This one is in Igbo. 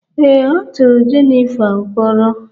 ee, a tụrụ Jennifer mkpọrọ